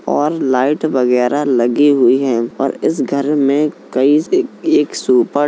और लाइट वगेरह लगे हुए हैं और इस घर में कई एक सुपा --